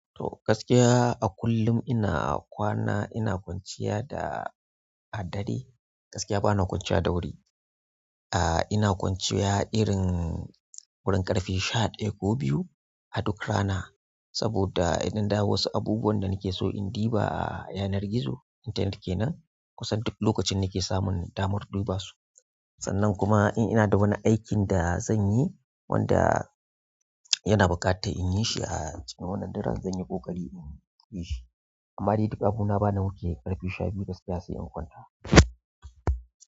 To gaskiya a kullum ina kwana ina kwanciya da a dare gaskiya bana kwanciya da wuri. Ah ina kwanciya irin wurin ƙarfe sha ɗaya ko biyu a duk rana saboda idan da wasu abubuwan da nake so in diba a yanar gizo intanet kenan kusan duk lokacin nake samun damar dubasu. Sannan kuma in ina da wani aikin da zanyi wanda yana buƙatar in yi shi a cikin wannan daren zan yi ƙoƙari in yi shi. Amma dai duk abuna bana wuce ƙarfe shabiyu gaskiya sai in kwanta.